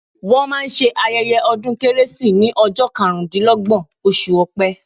Wọ́n máa ṣe ayẹ́yẹ́ ọdún kérésì ní ọjọ́ karùn dí lọ́gbọ̀n, oṣù Ọpẹ.